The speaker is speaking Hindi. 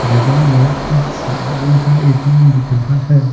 बगल में एक्सिस बैंक का ए_टी_एम दिख रहा है।